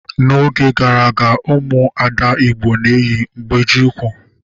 N'oge gara aga, ụmụ ada igbo na-eyi mgbaji ụkwụ